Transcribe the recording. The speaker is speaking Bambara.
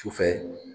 Sufɛ